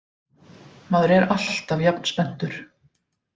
Maður er alltaf jafn spenntur